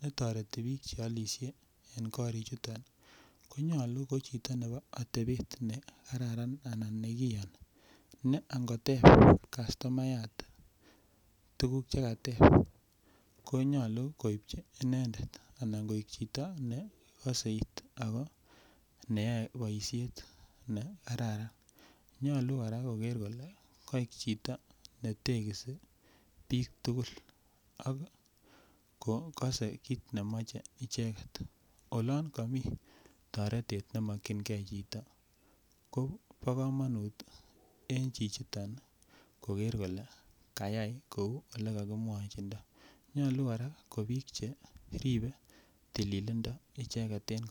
netoreti biik cheolisye en koriik chuton konyolu kochito nebo otebeet negararan anan negiyoni ne angoteeb kastomayaat tuguk chegateeb konyolu koibchi inendet anan koek chito negoseit ago neyoe boisheet negararan, nyolu koraa kogeer kole koek chito netegisi biik tugul ak kogose kiit nemoche icheget, olon komii toretet nemokyingee chito ko bo komonut en chichiton kogerr kole kayaai kouu olegogimwochindo, nyolu kora kobiik che ribe tililindo icheget en kotugul.